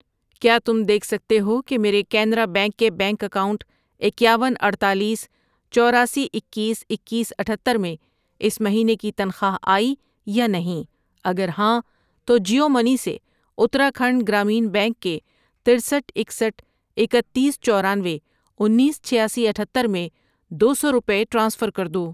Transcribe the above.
کیا تم دیکھ سکتے ہو کہ میرے کینرا بینک کے بینک اکاؤنٹ اکیاون، اڈتالیس، چوراسی، اکیس، اکیس، اتھتر میں اس مہینے کی تنخواہ آئی یا نہیں؟ اگر ہاں تو جیو منی سے اتراکھنڈ گرامین بینک کے ترستھ ،اکسٹھ ،اکتیس، چورانوے، انیس، چھیاسی، اتھتر میں دو سو روپے ٹرانسفر کر دو۔